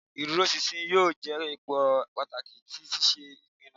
Ìdúróṣinṣin yóò je òpó pàtàkì ti ṣíṣe ìpinnu